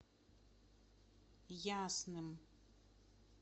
ясным